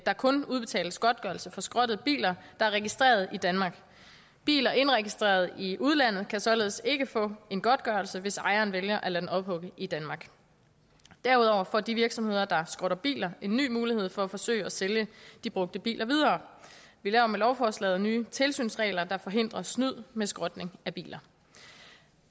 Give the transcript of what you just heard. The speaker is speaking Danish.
der kun udbetales godtgørelse for skrottede biler der er registreret i danmark biler indregistreret i udlandet kan således ikke få en godtgørelse hvis ejeren vælger at lade den ophugge i danmark derudover får de virksomheder der skrotter biler en ny mulighed for at forsøge at sælge de brugte biler videre vi laver med lovforslaget nye tilsynsregler der forhindrer snyd med skrotning af biler